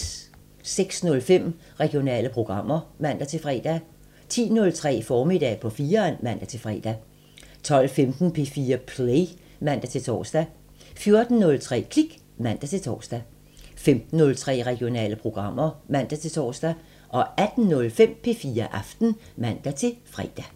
06:05: Regionale programmer (man-fre) 10:03: Formiddag på 4'eren (man-fre) 12:15: P4 Play (man-tor) 14:03: Klik (man-tor) 15:03: Regionale programmer (man-tor) 18:05: P4 Aften (man-fre)